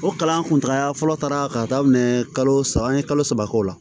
O kalan kuntala fɔlɔ taara k'a daminɛ kalo saba an ye kalo saba k'o la